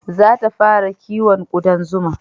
Za ta fara kiwon kuɗan zuma